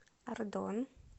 ардон